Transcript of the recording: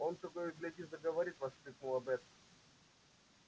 он того и гляди заговорит воскликнула бэт